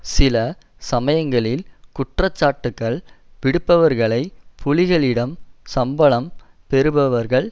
சில சமயங்களில் குற்றச்சாட்டுக்கள் விடுப்பவர்களை புலிகளிடம் சம்பளம் பெறுபவர்கள்